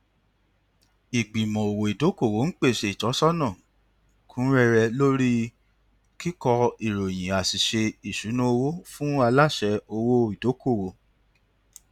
ìgbìmọ òwò ìdókòwò ń pèsè ìtọsọnà kún rẹrẹ lórí kíkọ ìròyìn àṣìṣe ìṣúnná owó fún aláṣẹ òwò ìdókòwò